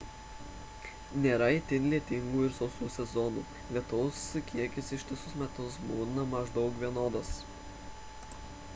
nėra itin lietingų ir sausų sezonų lietaus kiekis ištisus metus būna maždaug vienodas